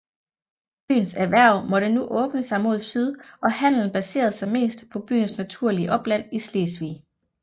Byens erhverv måtte nu åbne sig mod syd og handelen baserede sig mest på byens naturlige opland i Slesvig